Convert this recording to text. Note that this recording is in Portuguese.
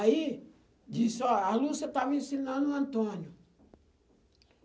Aí, disse, ó, a Lúcia estava ensinando o Antônio.